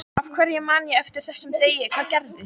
Af hverju man ég eftir þessum degi, hvað gerðist?